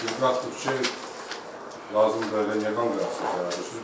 İlqar deyir ki, lazım deyil nə konfrans eləyirsiniz.